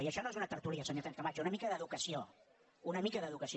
i això no és una tertúlia senyora sánchez camacho una mica d’educació una mica d’educació